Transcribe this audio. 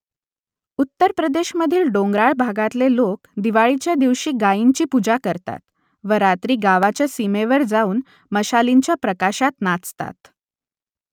उत्तर प्रदेशमधील डोंगराळ भागातले लोक दिवाळीच्या दिवशी गायींची पूजा करतात व रात्री गावाच्या सीमेवर जाऊन मशालींच्या प्रकाशात नाचतात